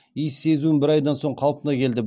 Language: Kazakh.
иіс сезуім бір айдан соң қалпына келді